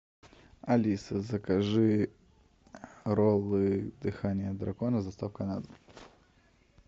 алиса закажи роллы дыхание дракона с доставкой на дом